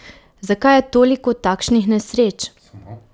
Zakaj je toliko takšnih nesreč?